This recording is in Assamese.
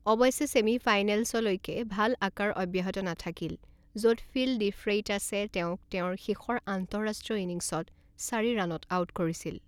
অৱশ্যে ছেমিফাইনেলছলৈকে ভাল আকাৰ অব্যাহত নাথাকিল, য'ত ফিল ডিফ্ৰেইটাছে তেওঁক তেওঁৰ শেষৰ আন্তঃৰাষ্ট্ৰীয় ইনিংছত চাৰি ৰানত আউট কৰিছিল।